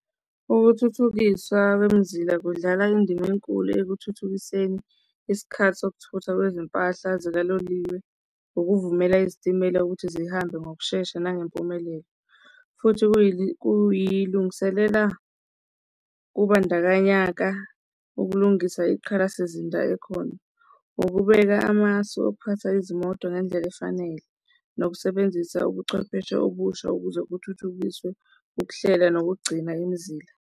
Ukuthuthukiswa kwemizila kudlala indima enkulu ekuthuthukiseni isikhathi sokuthutha kwezimpahla sikaloliwe, ukuvumela izitimela ukuthi zihambe ngokushesha nangempumelelo, futhi kuyilungiselela kubandakanyaka ukulungisela iqhala sizinda ekhona. Ukubeka amasu okuphatha izimoto ngendlela efanele, nokusebenzisa ubuchwepheshe obusha ukuze kuthuthukiswe ukuhlela nokugcina imizila.